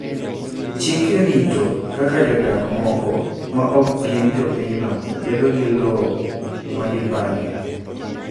Chike rito kaka jodak moko ma ok gin jopinyno bedo gi lowo ma gipangi.